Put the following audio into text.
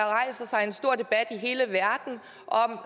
rejser sig en stor debat i hele verden om